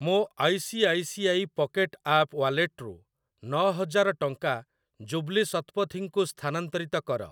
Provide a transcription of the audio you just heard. ମୋ I C I C I pocket app wallet ରୁ ନ ହଜାର ଟଙ୍କା ଜୁବ୍ଲି ଶତପଥୀ ଙ୍କୁ ସ୍ଥାନାନ୍ତରିତ କର।